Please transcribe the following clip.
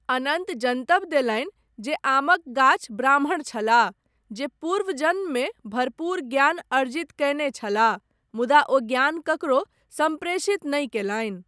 अनन्त जनतब देलनि जे आमक गाछ ब्राह्मण छलाह, जे पूर्व जन्ममे भरपूर ज्ञान अर्जित कयने छलाह, मुदा ओ ज्ञान ककरो सम्प्रेषित नहि कयलनि।